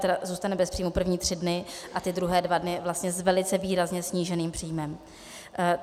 tedy zůstane bez příjmu první tři dny a ty druhé dva dny vlastně s velice výrazně sníženým příjmem.